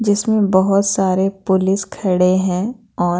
इसमें बहुत सारे पुलिस खड़े हैं और--